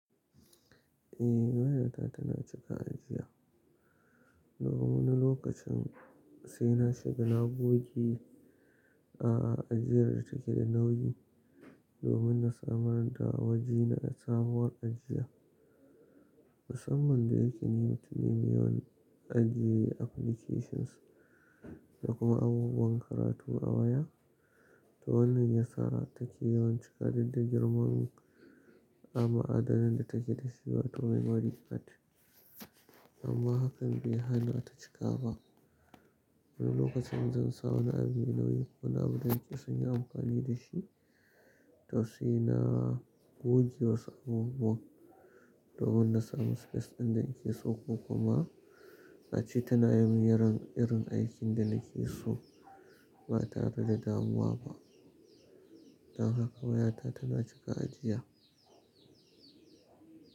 Eh wayata tana cika ajiya. Domin na lokacin sai na shiga na goge a ajiyar da take da nauyi, domin na samar da wajen sabuwar ajiya. Musamman da yake ni mutum ne mai yawan ajiye applications da kuma abubuwan karatu a waya. To wannan ya sa take yawan cika duk da girman ma'adannin da take da shi wato memory card. Amma hakan bai hana ta cika ba. Wani lokacin in zan sa wani abu mai nauyi wani abu da nake so inyi amfani da shi, toh sai na goge wasu abubuwan domin na samu space ɗin da nake so ko kuma ace tana yi min irin aikin da nake so ba tare da damuwa ba. Don haka wayata tana cika ajiya.